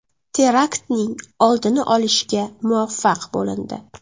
Teraktning oldini olishga muvaffaq bo‘lindi.